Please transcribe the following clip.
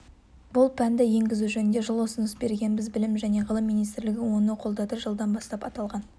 бұл пәнді енгізу жөнінде жылы ұсыныс бергенбіз білім және ғылым министрлігі оны қолдады жылдан бастап аталған